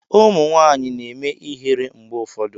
Ụmụ nwanyị na-eme ihere mgbe ụfọdụ.